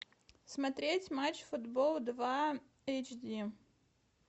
смотреть матч футбол два эйч ди